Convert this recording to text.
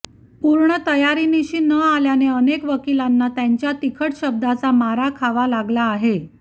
पूर्ण तयारीनिशी न आल्याने अनेक वकिलांना त्यांच्या तिखट शब्दाचा मार खावा लागला आहे